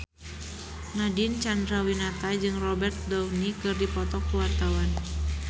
Nadine Chandrawinata jeung Robert Downey keur dipoto ku wartawan